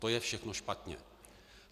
To je všechno špatně.